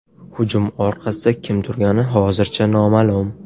Hujum orqasida kim turgani hozircha noma’lum.